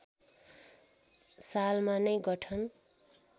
सालमा नै गठन